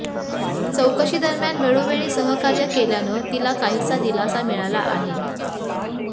चौकशीदरम्यान वेळोवेळी सहकार्य केल्यानं तिला काहीसा दिलासा मिळाला आहे